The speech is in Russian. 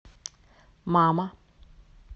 мама